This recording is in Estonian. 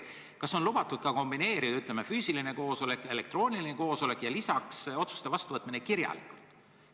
Kas on lubatud kombineerida: ütleme, füüsiline koosolek ja elektrooniline koosolek ja lisaks otsuste vastuvõtmine kirjalikult?